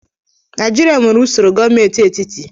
Naijiria nwere usoro gọọmentị etiti